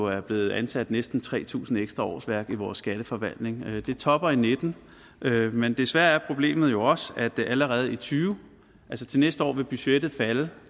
er blevet ansat næsten tre tusind ekstra årsværk i vores skatteforvaltning det topper og nitten men desværre er problemet jo også at allerede i tyve altså til næste år vil budgettet falde